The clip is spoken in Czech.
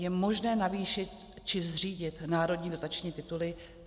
Je možné navýšit či zřídit národní dotační tituly?